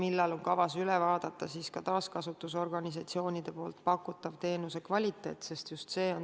Millal on kavas üle vaadata taaskasutusorganisatsioonide pakutava teenuse kvaliteet?